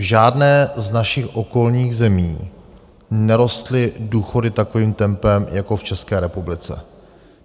V žádné z našich okolních zemí nerostly důchody takovým tempem jako v České republice.